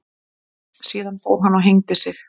Síðan fór hann og hengdi sig.